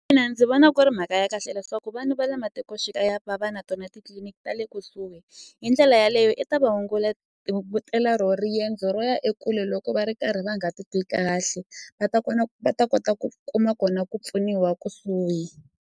ndzi vona ku ri mhaka ya kahle leswaku vanhu va le matikoxikaya va va na tona titliliniki ta le kusuhi hi ndlela yaleyo i ta va hungutela ro riendzo ro ya ekule loko va ri karhi va nga titwi kahle va ta kona va ta kota ku kuma kona ku pfuniwa kusuhi.